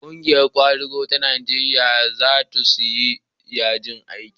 ƙungiyar kwadago ta Najeriya za su yi yajin aiki